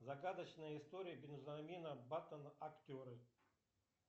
загадочная история бенджамина баттона актеры